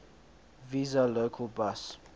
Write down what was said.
vesa local bus